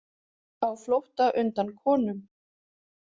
Á flótta undan konum